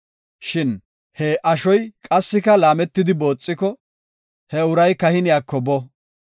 Shin he ashoy qassika laametidi booxiko, he uray kahiniyako bo.